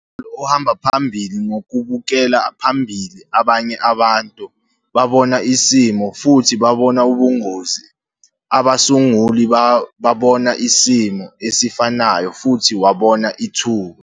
U-Jim Carroll ohamba phambili ngokubukela phambili, 'abanye abantu babona isimo - futhi babona ubungozi. Abasunguli babona isimo esifanayo - futhi wabona ithuba.'